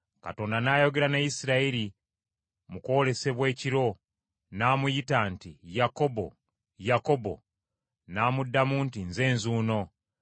Katonda n’ayogera ne Isirayiri mu kwolesebwa ekiro, n’amuyita nti, “Yakobo, Yakobo?” N’amuddamu nti, “Nze nzuuno.”